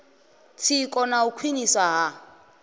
tsiko na u khwiniswa ha